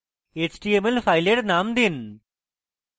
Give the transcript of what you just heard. html file name দিন